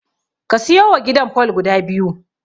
Ka siyowa gidan fol guda biyu.